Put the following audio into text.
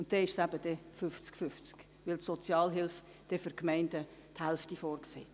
Und dann wäre es eben 50 zu 50, weil die Gemeinden die Hälfte der Sozialhilfekosten selber tragen.